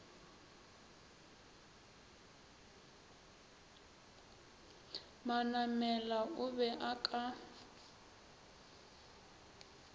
manamela o be a ka